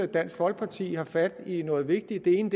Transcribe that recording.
dansk folkeparti har fat i noget vigtigt det ene